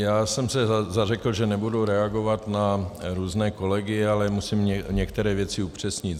Já jsem se zařekl, že nebudu reagovat na různé kolegy, ale musím některé věci upřesnit.